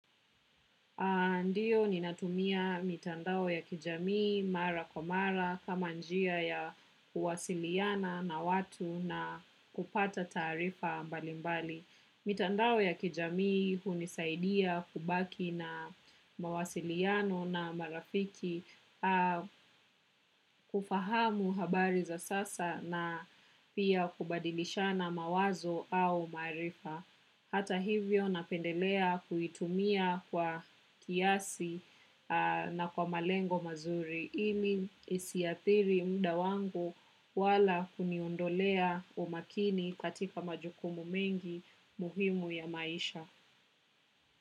Ndiyo ni natumia mitandao ya kijamii mara kwa mara kama njia ya kuwasiliana na watu na kupata tarifa mbalimbali. Mitandao ya kijamii hunisaidia kubaki na mawasiliano na marafiki kufahamu habari za sasa na pia kubadilisha na mawazo au marifa. Hata hivyo napendelea kuitumia kwa kiasi na kwa malengo mazuri. Ili isiapiri mda wangu wala kuniondolea umakini katika majukumu mengi muhimu ya maisha.